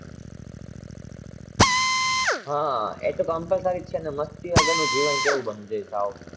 હા એતો compulsory છે